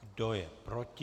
Kdo je proti?